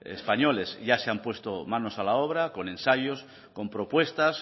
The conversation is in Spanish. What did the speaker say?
españoles ya se han puesto manos a la obra con ensayos con propuestas